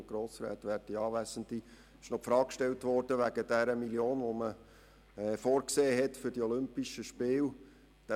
Es wurde die Frage gestellt, was mit den 1 Mio. Franken geschehe, welche für die Olympischen Spiele vorgesehen war.